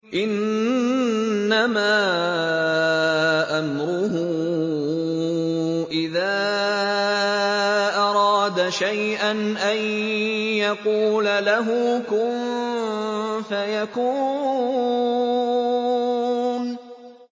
إِنَّمَا أَمْرُهُ إِذَا أَرَادَ شَيْئًا أَن يَقُولَ لَهُ كُن فَيَكُونُ